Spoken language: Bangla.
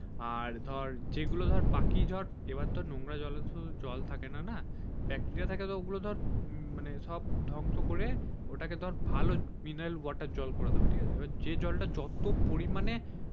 আর ধর যেগুলো ধর বাকি ধর এবার তো নোংরা জল থাকেনা না ব্যাকটেরিয়া থাকার ওগুলো ধর সব ধ্বংশ করে ওটাকে ধর ভালো মিনারেল জল করে দিবে যে জলটা যত পরিমানে